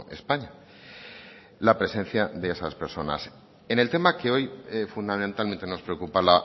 españa la presencia de esas personas en el tema que hoy fundamentalmente nos preocupa